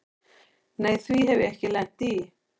Nei því hef ég ekki lent í.